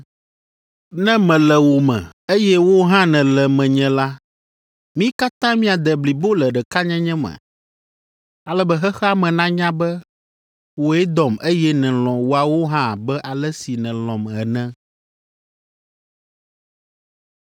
Ne mele wo me, eye wò hã nèle menye la, mi katã miade blibo le ɖekanyenye me, ale be xexea me nanya be wòe dɔm eye nèlɔ̃ woawo hã abe ale si nèlɔ̃m ene.